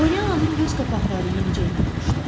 Polyananın göz qapaqları yenicə yumulmuşdu.